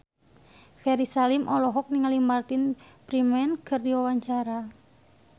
Ferry Salim olohok ningali Martin Freeman keur diwawancara